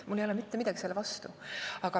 Mul ei ole mitte midagi selle vastu.